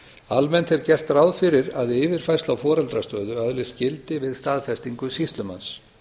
almennt er gert ráð fyrir að við yfirfærslu á foreldrastöðu öðlist gildi við staðfestingu sýslumanns